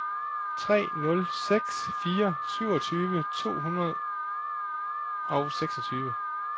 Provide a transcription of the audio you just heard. tre nul seks fire syvogtyve to hundrede og seksogtyve